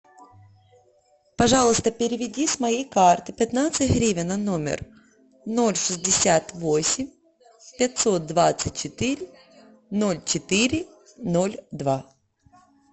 пожалуйста переведи с моей карты пятнадцать гривен на номер ноль шестьдесят восемь пятьсот двадцать четыре ноль четыре ноль два